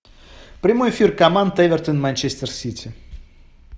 прямой эфир команд эвертон и манчестер сити